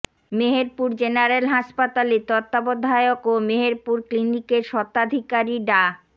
Meherpur general হাসপাতালে তত্ত্বাবধায়ক ও মেহেরপুর ক্লিনিকের স্বত্বাধিকারী ডা